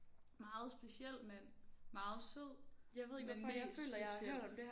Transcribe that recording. Meget speciel mand meget sød men mest speciel